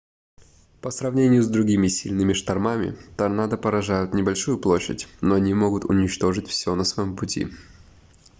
по сравнению с другими сильными штормами торнадо поражают небольшую площадь но они могут уничтожить всё на своем пути